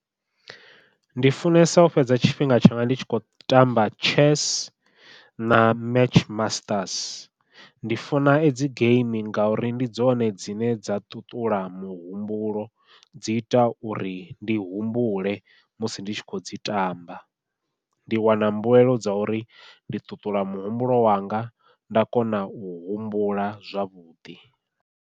Ndi funesa u fhedza tshifhinga tshanga ndi tshi kho tamba chess na match masters ndi funa edzi geimi ngauri ndi dzone dzine dza ṱuṱula muhumbulo, dzi ita uri ndi humbule musi ndi tshi khou dzi tamba, ndi wana mbuelo dza uri ndi ṱuṱula muhumbulo wanga nda kona u humbula zwavhuḓi.